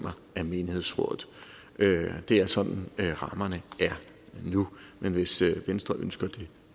af menighedsrådet det er sådan rammerne er nu men hvis venstre ønsker det